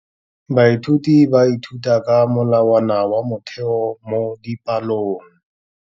Baithuti ba ithuta ka molawana wa motheo mo dipalong.